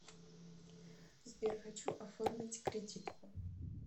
сбер хочу оформить кредитку